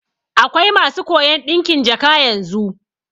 Akwai masu koyan ɗinkin jaka yanzu